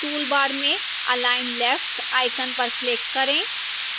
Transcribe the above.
toolbar में align left icon पर click करें